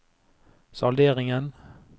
salderingen